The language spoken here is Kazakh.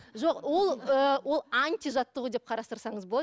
жоқ ол ы ол ы антижаттығу деп қарастырсаңыз болады